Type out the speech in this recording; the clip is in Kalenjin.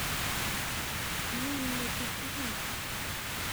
Amin metit ii?